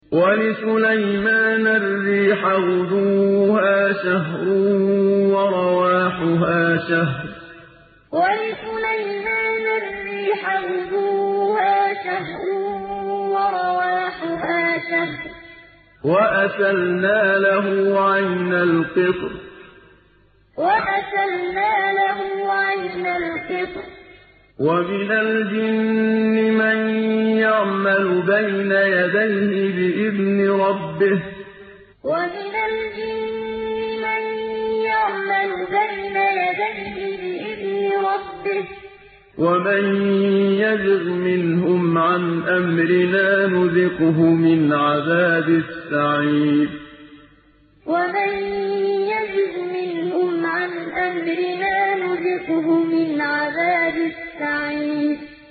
وَلِسُلَيْمَانَ الرِّيحَ غُدُوُّهَا شَهْرٌ وَرَوَاحُهَا شَهْرٌ ۖ وَأَسَلْنَا لَهُ عَيْنَ الْقِطْرِ ۖ وَمِنَ الْجِنِّ مَن يَعْمَلُ بَيْنَ يَدَيْهِ بِإِذْنِ رَبِّهِ ۖ وَمَن يَزِغْ مِنْهُمْ عَنْ أَمْرِنَا نُذِقْهُ مِنْ عَذَابِ السَّعِيرِ وَلِسُلَيْمَانَ الرِّيحَ غُدُوُّهَا شَهْرٌ وَرَوَاحُهَا شَهْرٌ ۖ وَأَسَلْنَا لَهُ عَيْنَ الْقِطْرِ ۖ وَمِنَ الْجِنِّ مَن يَعْمَلُ بَيْنَ يَدَيْهِ بِإِذْنِ رَبِّهِ ۖ وَمَن يَزِغْ مِنْهُمْ عَنْ أَمْرِنَا نُذِقْهُ مِنْ عَذَابِ السَّعِيرِ